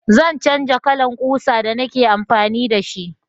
Zan canja kalan ƙusa da ni ke amfani da shi